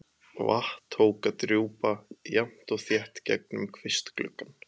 Vatn tók að drjúpa jafnt og þétt gegnum kvistgluggann.